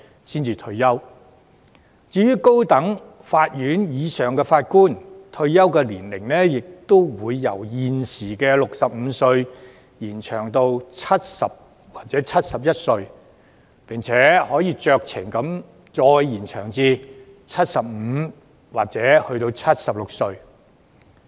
至於高等法院或以上級別的法官，退休年齡亦會由現時的65歲延展至70歲或71歲，並可以酌情再延展至75歲或76歲。